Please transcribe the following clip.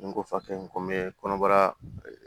N ko fakɛ in ko n be kɔnɔbara